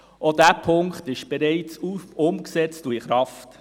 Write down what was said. Auch dieser Punkt ist bereits umgesetzt und in Kraft.